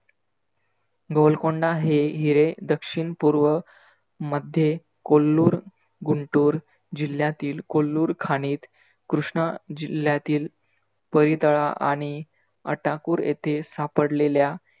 गोलकोंडा हे हिरे दक्षिण पूर्व मध्ये कोल्लूर, गुंटूर जिल्ह्यातील कोल्लूर खानीत कृष्णा जिल्ह्यातील पोईतळा आणि अटाकुर येथे सापडलेल्या